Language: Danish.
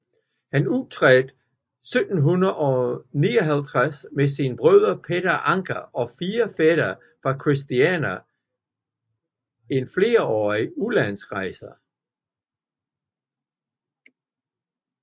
Han tiltrådte 1759 med sin broder Peter Anker og 4 fætre fra Christiania en flerårig udenlandsrejse